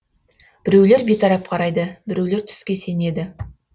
біреулер бейтарап қарайды біреулер түске сенеді